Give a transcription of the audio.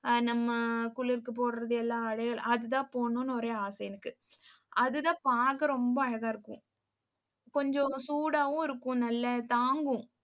அஹ் நம்ம குளிருக்கு போடுறது, எல்லா அதையே அதுதான் போடணும்னு ஒரே ஆசையிருக்கு. அதுதான் பார்க்க ரொம்ப அழகா இருக்கும். கொஞ்சம் சூடாவும் இருக்கும். நல்லா தாங்கும்